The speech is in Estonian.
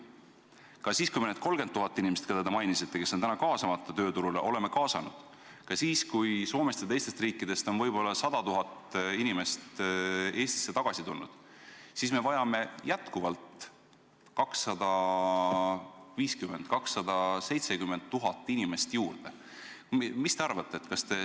Ka siis, kui me oleme kaasanud need 30 000 inimest, keda te mainisite, kes on praegu tööturule kaasamata, ka siis, kui Soomest ja teistest riikidest on võib-olla 100 000 inimest Eestisse tagasi tulnud, me vajame ikkagi veel 250 000 – 270 000 inimest juurde.